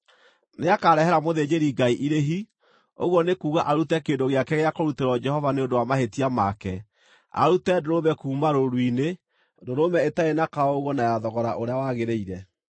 Nĩakarehera mũthĩnjĩri-Ngai irĩhi, ũguo nĩ kuuga arute kĩndũ gĩake gĩa kũrutĩrwo Jehova nĩ ũndũ wa mahĩtia make, arute ndũrũme kuuma rũũru-inĩ, ndũrũme ĩtarĩ na kaũũgũ na ya thogora ũrĩa wagĩrĩire.